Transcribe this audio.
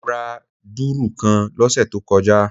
Mo ra dùrù kan lósè tó kojá